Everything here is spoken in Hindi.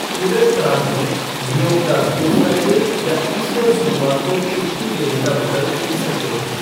क्यूबेक प्रांत में, नियोक्ता गुड फ़्राइडे या ईस्टर सोमवार को छुट्टी देने का विकल्प चुन सकते हैं।